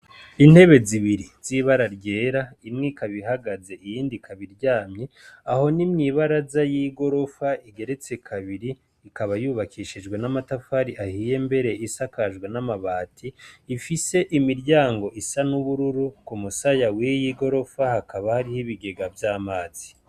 Intebe zibiri z'ibara ryera imwe ikabihagaze iyindi kabiryamye aho n'imwibara za y'i gorofa igeretse kabiri ikaba yubakishijwe n'amatafari ahiye mbere isakajwe n'amabati ifise imiryango isa n'ubururu ku musaya wiy igorofa hakaba hariho ibigega vy'amazi.